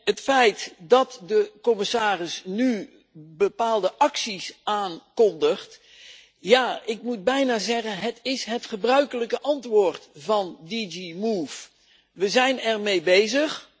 Het feit dat de commissaris nu bepaalde acties aankondigt ja, ik moet bijna zeggen, het is het gebruikelijke antwoord van DG MOVE We zijn ermee bezig.